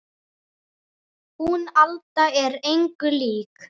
Hún Alda er engu lík